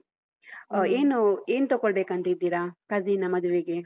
ಅ ಏನು ಏನ್ ತಗೊಳ್ಬೇಕಂತ ಇದಿರಾ, cousin ನ ಮದ್ವೆಗೆ?